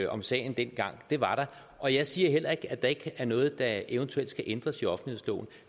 om sagen dengang det var der og jeg siger heller ikke at der ikke er noget der eventuelt skal ændres